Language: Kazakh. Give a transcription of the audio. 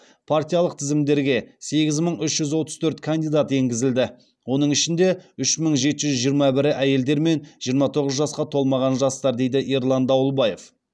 партиялық тізімдерге сегіз мың үш жүз отыз төрт кандидат енгізілді оның ішінде үш мың жеті жүз жиырма бірі әйелдер мен жиырма тоғыз жасқа толмаған жастар дейді ерлан дауылбаев